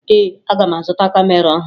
Ee, aga m azụta kamera ọhụrụ